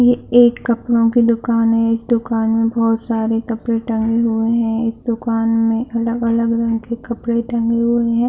ये एक कपड़ो की दुकान में है इस दुकान में बहुत सारे कपड़े टंगे हुए है इस दुकान में अलग-अलग ढंग के कपड़े टंगे हुए है।